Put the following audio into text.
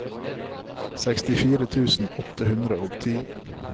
sekstifire tusen åtte hundre og ti